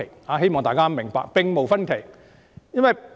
我希望大家明白——意見並無分歧。